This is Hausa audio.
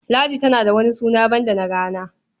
Ladi tana da wani suna banda na rana.